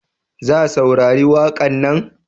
Za saurari waƙan na?